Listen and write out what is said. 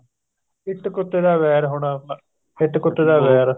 ਇੱਟ ਕੁੱਤੇ ਦਾ ਵੈਰ ਹੋਣਾ ਇੱਟ ਕੁੱਤੇ ਦਾ ਵੈਰ